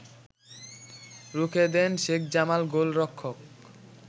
রুখেদেন শেখ জামাল গোলরক্ষক